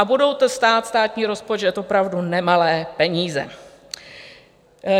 A bude to stát státní rozpočet opravdu nemalé peníze.